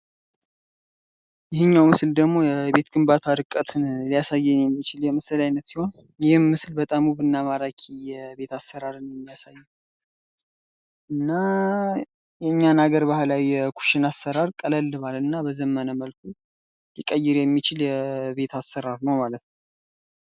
ይሄኛው ምስል ደግሞ የቤት ግንባታ እርቀትን ሊያሳየን የሚችል የምስል ዓይነት ሲሆን ይህም ምስል በጣም ውብ እና ማራኪ የቤት አሰራርን ያሳያል። እና የእኛን ሀገር ባህላዊ የኩሽና አሰራር ቀለል ባለ እና በዘመነ መልኩ ሊቀይር የሚችል የቤት አሰራር ነው ማለት ነው።